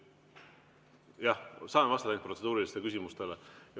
Jah, saan vastata ainult protseduurilistele küsimustele.